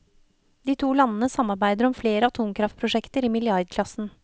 De to landene samarbeider om flere atomkraftprosjekter i milliardklassen.